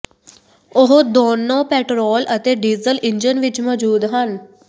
ਉਹ ਦੋਨੋ ਪੈਟਰੋਲ ਅਤੇ ਡੀਜ਼ਲ ਇੰਜਣ ਵਿੱਚ ਮੌਜੂਦ ਹਨ